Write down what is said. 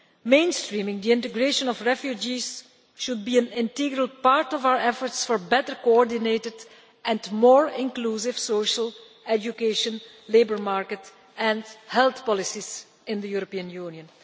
Mainstreaming the integration of refugees should be an integral part of our efforts for better coordinated and more inclusive social education, labour market and health policies in the European Union.